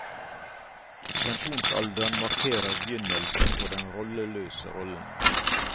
Pensjonsalderen markerer begynnelsen på den rolleløse rollen.